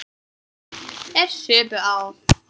Þeir supu á.